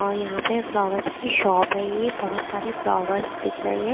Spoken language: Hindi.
और यहाँ पे फ्लावर्स की शॉप है ये बहोत सारे फ्लावर्स दिख रहे हैं।